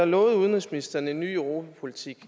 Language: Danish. lovede udenrigsministeren en ny europapolitik